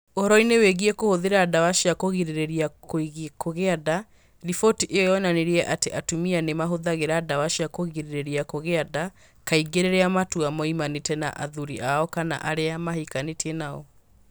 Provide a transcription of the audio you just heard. Ũhoro-inĩ wĩgiĩ kũhũthĩra ndawa cia kũgirĩrĩria kũgĩa nda, riboti ĩyo yonanirie atĩ atumia nĩ mahũthagĩra ndawa cia kũgirĩrĩria kũgĩa nda kaingĩ rĩrĩa matua moimanĩte na athuri ao kana arĩa mahikanĩtie nao.